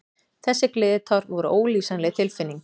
Þessi gleðitár voru ólýsanleg tilfinning.